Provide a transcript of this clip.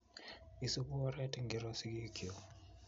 Isupu oret ingiro sikik kyuk?